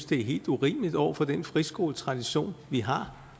det er helt urimeligt over for den friskoletradition vi har